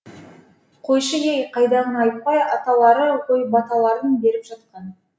қойшы ей қайдағыны айтпай аталары ғой баталарын беріп жатқан